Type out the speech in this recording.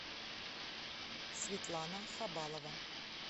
светлана хабалова